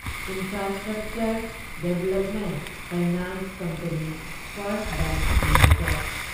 infrastructure Development Finance Company First Bank limited